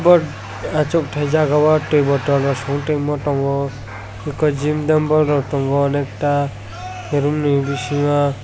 bo achukthai jaga o twi bottle rok song tongmio tongo eko gym dumble rok tongo onekta roomni bisingo.